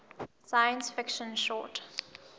science fiction short